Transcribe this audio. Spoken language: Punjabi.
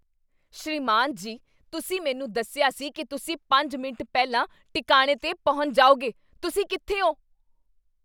ਸ੍ਰੀਮਾਨ ਜੀ , ਤੁਸੀਂ ਮੈਨੂੰ ਦੱਸਿਆ ਸੀ ਕੀ ਤੁਸੀਂ ਪੰਜ ਮਿੰਟ ਪਹਿਲਾਂ ਟਿਕਾਣੇ 'ਤੇ ਪਹੁੰਚ ਜਾਓਗੇ ਤੁਸੀਂ ਕਿੱਥੇ ਹੋ?